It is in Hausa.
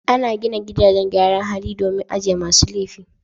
Ana gina gidajen gyaran hali domin ajiye masu laifi.